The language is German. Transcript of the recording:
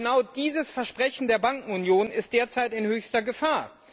Genau dieses Versprechen der Bankenunion ist derzeit in höchster Gefahr.